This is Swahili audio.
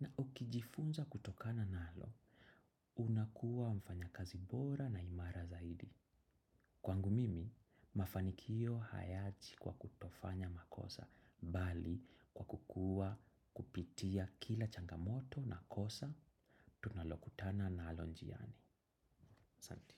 na ukijifunza kutokana nalo, unakuwa mfanya kazi bora na imara zaidi. Kwangu mimi, mafanikio hayaji kwa kutofanya makosa, bali kwa kukua kupitia kila changamoto na kosa, tunalokutana nalo njiani. Santi.